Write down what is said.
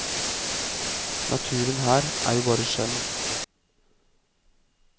Naturen her er jo bare skjønn.